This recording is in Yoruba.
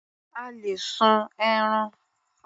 A lè sun ẹran.